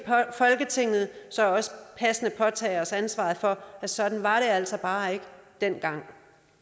folketinget passende påtage os ansvaret for at sådan var det altså bare ikke dengang